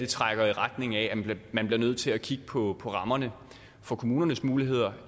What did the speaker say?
trækker i retning af at man bliver nødt til at kigge på rammerne for kommunernes muligheder